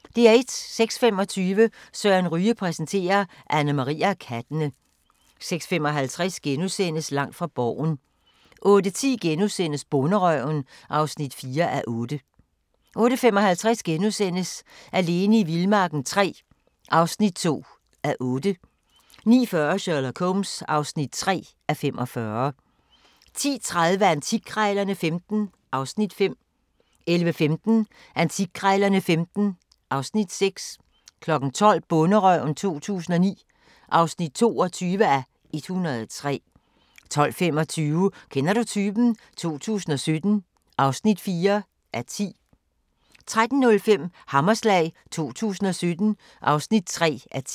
06:25: Søren Ryge præsenterer: Annemarie og kattene 06:55: Langt fra Borgen * 08:10: Bonderøven (4:8)* 08:55: Alene i vildmarken III (2:8)* 09:40: Sherlock Holmes (3:45) 10:30: Antikkrejlerne XV (Afs. 5) 11:15: Antikkrejlerne XV (Afs. 6) 12:00: Bonderøven 2009 (22:103) 12:25: Kender du typen? 2017 (4:10) 13:05: Hammerslag 2017 (3:10)